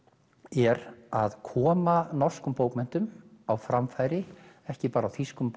er að koma norskum bókmenntum á framfæri ekki bara á þýskum